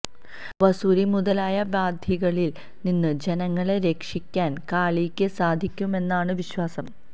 വസൂരി മുതലായ വ്യാധികളിൽ നിന്ന് ജനങ്ങളെ രക്ഷിയ്ക്കാൻ കാളിക്ക് സാധിക്കുമെന്നാണ് വിശ്വാസം